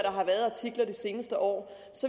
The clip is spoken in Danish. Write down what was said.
har været af artikler det seneste år